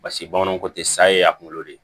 Basi bamananw ko te saye a kunkolo de